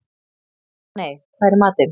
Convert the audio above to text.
Árney, hvað er í matinn?